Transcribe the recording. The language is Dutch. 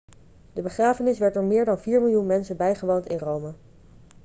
de begrafenis werd door meer dan vier miljoen mensen bijgewoond in rome